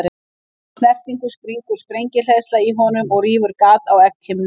Við þá snertingu springur sprengihleðsla í honum og rýfur gat á egghimnuna.